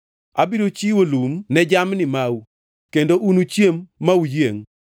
Abiro chiwo lum ne jamni mau kendo unuchiem ma uyiengʼ.